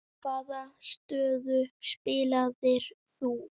Hvaða stöðu spilaðir þú?